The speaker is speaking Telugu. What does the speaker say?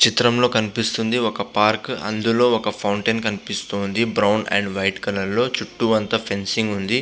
చిత్రంలో కనిపిస్తుంది ఒక పార్క్ అందులో ఒక ఫౌంటెన్ కనిపిస్తుంది బ్రౌన్ అండ్ వైట్ కలర్ లో చుట్టూ అంతా ఫెన్సింగ్ ఉంది.